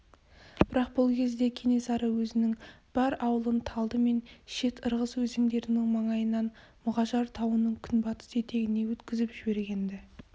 бірақ бұл кезде кенесары өзінің бар аулын талды мен шет-ырғыз өзендерінің маңайынан мұғажар тауының күнбатыс етегіне өткізіп жіберген-ді